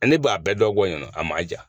ne b'a bɛɛ dɔn bɔ ɲɔn na a maa ja.